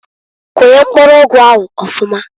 Kunye mpkuru ụgụ ahụ ọfụmaǃ